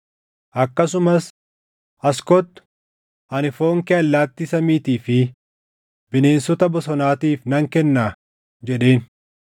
Akkasumas, “As kottu; ani foon kee allaattii samiitii fi bineensota bosonaatiif nan kennaa!” jedheen.